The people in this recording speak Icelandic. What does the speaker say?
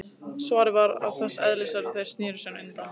Svarið var þess eðlis að þeir sneru sér undan.